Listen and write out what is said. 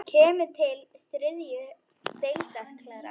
Kemur til þriðju deildar karla?